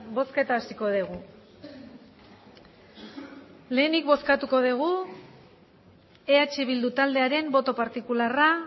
bozketa hasiko dugu lehenik bozkatuko dugu eh bildu taldearen boto partikularra